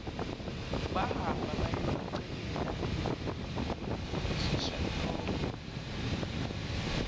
bahamba bayobikela uthishanhloko